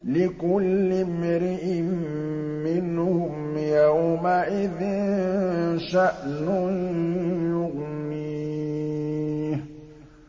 لِكُلِّ امْرِئٍ مِّنْهُمْ يَوْمَئِذٍ شَأْنٌ يُغْنِيهِ